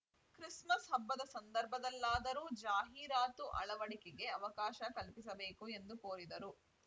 Christmas ಹಬ್ಬದ ಸಂದರ್ಭದಲ್ಲಾದರೂ ಜಾಹೀರಾತು ಅಳವಡಿಕೆಗೆ ಅವಕಾಶ ಕಲ್ಪಿಸಬೇಕು ಎಂದು ಕೋರಿದರು